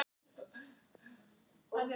Og í þriðja lagi.